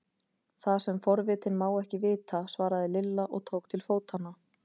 Það sem forvitinn má ekki vita! svaraði Lilla og tók til fótanna.